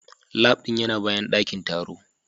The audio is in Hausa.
Lab din yana bayan dakin taro